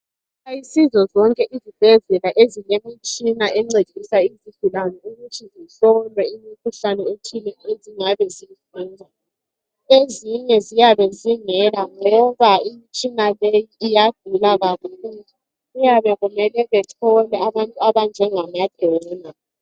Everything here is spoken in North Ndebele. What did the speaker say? Ayisizozonke izibhedlela ezilemitshina encedisa izigulane ukuthi zihlolwe imikhuhlane ethile ezingabe ziyigula. Ezinye ziyabe zingela ngoba imitshina leyi iyadula kakhulu kuyabe kumele bethole abantu abanjengama dona.